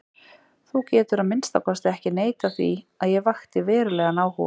Þú getur að minnsta kosti ekki neitað því að ég vakti verulegan áhuga.